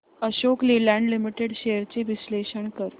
Ashok Leyland limited shares चे विश्लेषण कर